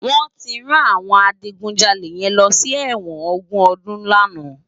Wòn ti rán áwòn àjigúnjàlé yèn lòsi èwòn ógún òdún làná